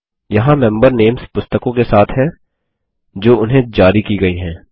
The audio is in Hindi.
यहाँ मेंबर नेम्स पुस्तकों के साथ हैं जो उन्हें जारी की गयी हैं